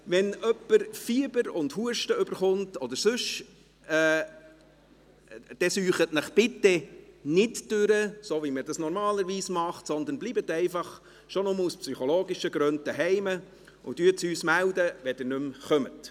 Wenn jemand Fieber oder Husten bekommt, oder sonst etwas, dann seuchen Sie sich bitte nicht durch, wie man es normalerweise macht, sondern bleiben Sie einfach – schon nur aus psychologischen Gründen – zu Hause und melden Sie uns, wenn Sie nicht mehr kommen.